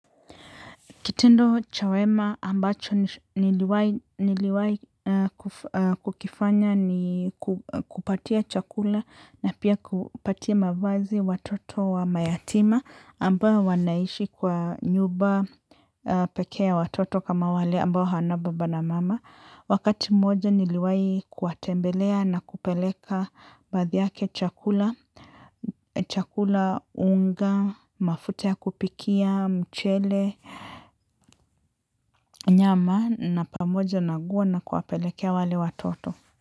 Kitendo cha wema ambacho niliwahi kukifanya ni kupatia chakula na pia kupatia mavazi watoto wa mayatima ambao wanaishi kwa nyumba pekee ya watoto kama wale ambao hawana baba na mama. Wakati mmoja niliwahi kuwatembelea na kupeleka baadhi yake chakula, chakula unga, mafuta ya kupikia, mchele, nyama na pamoja na nguo na kuwapelekea wale watoto.